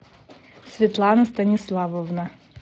светлана станиславовна